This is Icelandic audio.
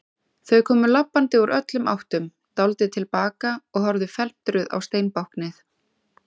Þau komu labbandi úr öllum áttum, dáldið til baka og horfðu felmtruð á steinbáknið.